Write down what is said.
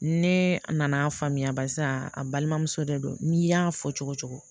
Ne nana faamuya barisa a balimamuso de don n'i y'a fɔ cogo cogo